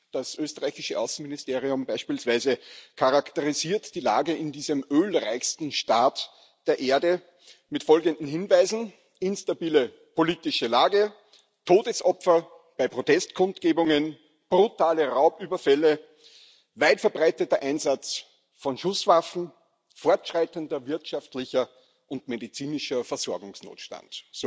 Das österreichische Außenministerium beispielsweise charakterisiert die Lage in diesem ölreichsten Staat der Erde mit folgenden Hinweisen instabile politische Lage, Todesopfer bei Protestkundgebungen, brutale Raubüberfälle, weit verbreiteter Einsatz von Schusswaffen, fortschreitender wirtschaftlicher und medizinischer Versorgungsnotstand.